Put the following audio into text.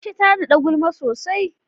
Aisha ta nada gulma sosai.